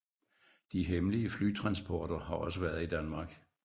De hemmelige flytransporter har også været i Danmark